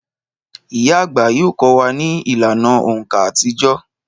Ìyá àgbà yóò kọ́ wa ní ìlànà òǹkà àtijọ́